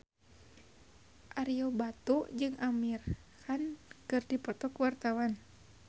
Ario Batu jeung Amir Khan keur dipoto ku wartawan